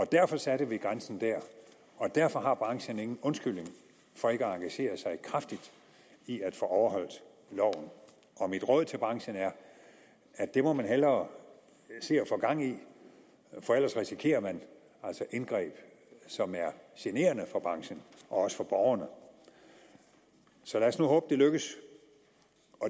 derfor satte vi grænsen der og derfor har branchen ingen undskyldning for ikke at engagere sig kraftigt i at få overholdt loven mit råd til branchen er at det må man hellere se at få gang i for ellers risikerer man altså indgreb som er generende for branchen og også for borgerne så lad os nu håbe det lykkes